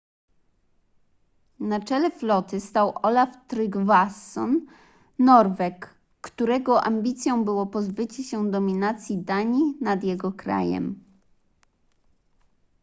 na czele floty stał olaf trygvasson norweg którego ambicją było pozbycie się dominacji danii nad jego krajem